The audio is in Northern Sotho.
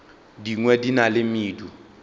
dingwe di na le medu